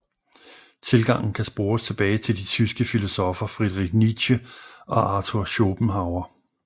Tilgangen kan spores tilbage til de tyske filosoffer Friedrich Nietzsche og Arthur Schopenhauer